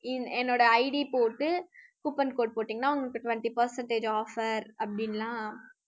என்~ என்னோட ID போட்டு coupon code போட்டிங்கன்னா உங்களுக்கு twenty percentage offer அப்படின்னுலாம்